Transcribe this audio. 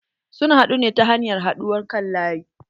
Sun haɗu ne ta hanyar haɗuwar kan laƴi.